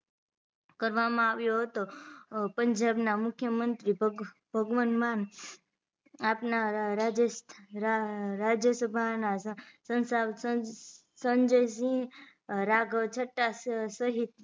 કરવામાં આવ્યો હતો પંજાબ ના મુખ્યમંત્રી ભગવત માન આપ ના રાજ્ય રાજયસભા ના સંસા સંજયસિંહ રાઘવ છત્તા સહીત